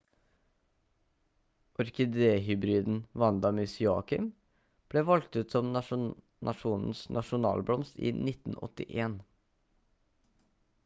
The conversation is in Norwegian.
orkidé-hybriden vanda miss joaquim ble valgt ut som nasjonens nasjonalblomst i 1981